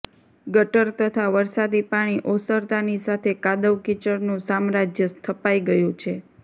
ગટર તથા વરસાદી પાણી ઓસરતાની સાથે કાદવ કિચડનુ સામ્રાજ્ય સ્થપાઈ ગયુ છે